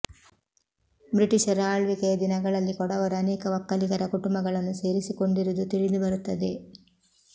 ಬ್ರಿಟಿಷರ ಆಳ್ವಿಕೆಯ ದಿನಗಳಲ್ಲಿ ಕೊಡವರು ಅನೇಕ ವಕ್ಕಲಿಗರ ಕುಟುಂಬಗಳನ್ನು ಸೇರಿಸಿ ಕೊಂಡಿರುವುದು ತಿಳಿದು ಬರುತ್ತದೆ